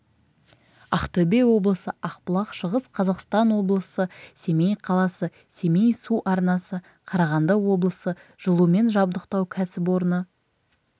ақтөбе облысы ақбұлақ шығыс қазақстан облысы семей қаласы семей су арнасы қарағанды облысы жылумен жабдықтау кәсіпорны